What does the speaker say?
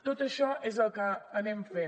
tot això és el que anem fent